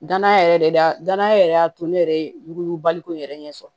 Danaya yɛrɛ de da danaya yɛrɛ y'a to ne yɛrɛ ye yuguyugu baliku in yɛrɛ ɲɛ sɔrɔ